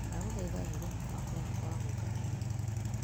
Ndagũthaitha eheria mũbango wakwa wa gwĩka kuma ũmũthĩ .